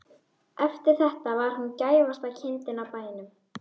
Eftir þetta var hún gæfasta kindin á bænum.